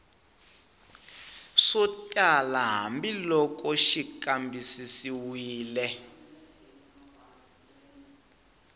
swo tala hambiloko xi kambisisiwile